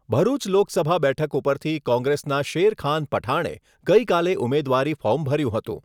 ભરૂચ લોકસભા બેઠક ઉપરથી કોંગ્રેસના શેરખાન પઠાણે ગઈકાલે ઉમેદવારી ફોર્મ ભર્યું હતું.